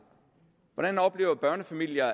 hvordan oplever børnefamilier at